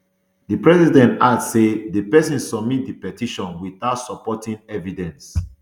di president add say di pesin submit di petition without supporting evidence